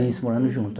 Isso, morando junto.